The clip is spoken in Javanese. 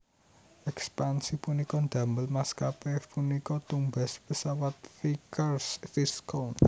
Ekspansi punika ndamel maskapé punika tumbas pesawat Vickers Viscount